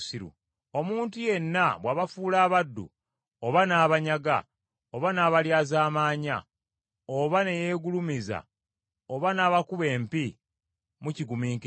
Omuntu yenna bw’abafuula abaddu, oba n’abanyaga, oba n’abalyazaamanya, oba ne yeegulumiza, oba n’abakuba empi, mukigumiikiriza.